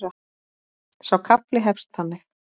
Sá kafli hefst þannig: